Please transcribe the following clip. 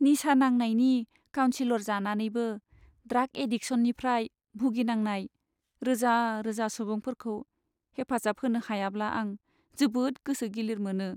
निसा नांनायनि काउनसिलर जानानैबो ड्राग एडिकसननिफ्राय भुगिनांनाय रोजा रोजा सुबुंफोरखौ हेफाजाब होनो हायाब्ला आं जोबोद गोसो गिलिर मोनो।